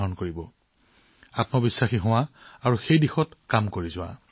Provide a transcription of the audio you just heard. নিজৰ ওপৰত বিশ্বাস ৰাখক আৰু সেই দিশত কাম কৰক